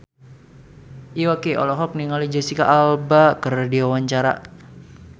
Iwa K olohok ningali Jesicca Alba keur diwawancara